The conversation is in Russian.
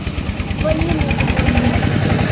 полину добавлять